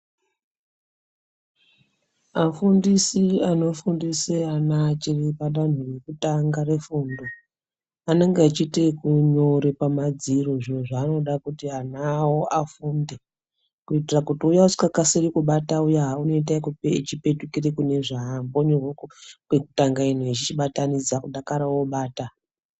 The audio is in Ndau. Afundisi anofundisa ana achiri padanho rekutanga refundo anenge achiite ekunyore pamadziro zviro zvaanoda kuti ana awo afunde kuitira kuti uya usikakasiri kubata uya unoite echipetukire kune zvambonyorwa kwekutanga ino echichibatanidza kudakara obata.